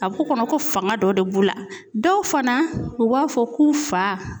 A bɛ k'u kɔnɔ ko fanga dɔ de b'u la dɔw fana u b'a fɔ k'u fa